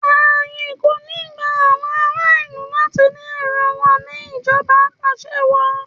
Ààyè kò ní gba àwọn aráàlú láti ní èrò wọn ní ìjọba apàṣẹwàá.